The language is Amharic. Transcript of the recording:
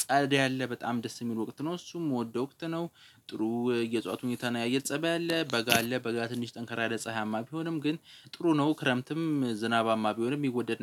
ጸድ አለ በጣም ደስ የሚሉ ወቅት ነው እሱም የምወደው ወቅት ነው። ጥሩ የዕጽዋት ሁኔታን የአየር ፀባይ አለ በጋ አለ በጋ ትንሽ ጠንካራ ጸሃያማ ቢሆንም ግን ጥሩ ነው። ክረምትም ዝናባማ ቢሆንም የሚወደድ